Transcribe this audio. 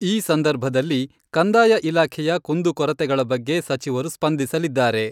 ಈ ಸಂದರ್ಭದಲ್ಲಿ ಕಂದಾಯ ಇಲಾಖೆಯ ಕುಂದು ಕೊರತೆಗಳ ಬಗ್ಗೆ ಸಚಿವರು ಸ್ಪಂದಿಸಲಿದ್ದಾರೆ.